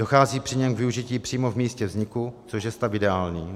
Dochází při něm k využití přímo v místě vzniku, což je stav ideální.